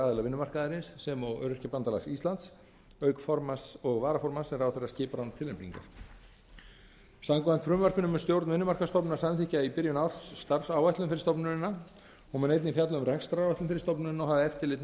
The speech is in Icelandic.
fulltrúaraðila vinnumarkaðarins sem og öryrkjabandalags íslands auk formanns og varaformanns sem ráðherra skipar án tilnefningar samkvæmt frumvarpinu mun stjórn vinnumarkaðsstofnunar samþykkja í byrjun árs starfsáætlun fyrir stofnunina hún mun einnig fjalla um rekstraráætlun fyrir stofnunina og hafa eftirlit með